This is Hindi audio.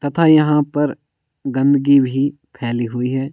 तथा यहाँ पर गंदगी भी फैली हुई है।